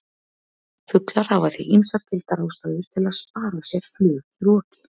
Fuglar hafa því ýmsar gildar ástæður til að spara sér flug í roki!